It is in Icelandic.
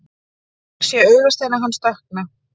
Ég sé augasteina hans dökkna.